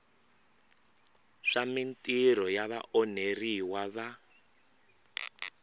swa mintirho ya vaonheriwa va